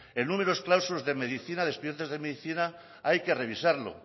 en números clausus de medicina de expedientes de medicina hay que revisarlos